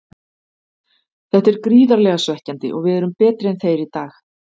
Þetta er gríðarlega svekkjandi og við erum betri en þeir í dag.